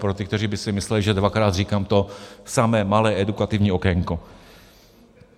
Pro ty, kteří by si mysleli, že dvakrát říkám to samé, malé edukativní okénko.